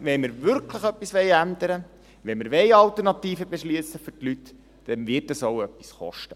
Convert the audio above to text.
Wenn wir wirklich etwas ändern wollen, wenn wir Alternativen für die Leute beschliessen wollen, wird das auch etwas kosten.